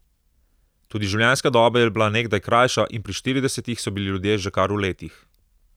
Tudi življenjska doba je bila nekdaj krajša in pri štiridesetih so bili ljudje že kar v letih.